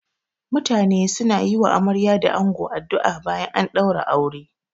Mutane suna yi wa amarya da ango addu'a bayan an ɗaura aure.